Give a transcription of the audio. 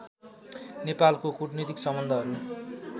नेपालको कूटनीतिक सम्बन्धहरू